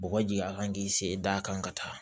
Bɔgɔji a kan k'i sen da a kan ka taa